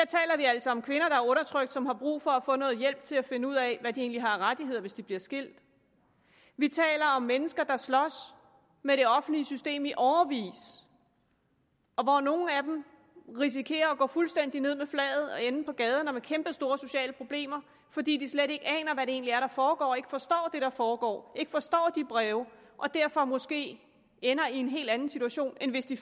taler vi altså om kvinder og som har brug for at få noget hjælp til at finde ud af hvad de egentlig har af rettigheder hvis de bliver skilt vi taler om mennesker der slås med det offentlige system i årevis og hvor nogle af dem risikerer at gå fuldstændig ned med flaget eller ende på gaden med kæmpestore sociale problemer fordi de slet ikke aner hvad det egentlig er der foregår ikke forstår det der foregår ikke forstår de breve og derfor måske ender i en helt anden situation end hvis de